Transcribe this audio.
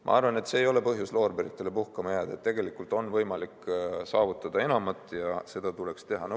Ma arvan, et see ei ole põhjus loorberitele puhkama jääda, tegelikult on võimalik saavutada enamat ja seda tuleks teha.